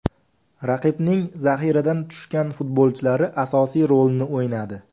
Raqibning zaxiradan tushgan futbolchilari asosiy rolni o‘ynadi.